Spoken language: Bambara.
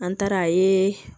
An taara a ye